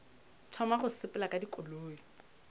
thoma go sepela ka dikoloi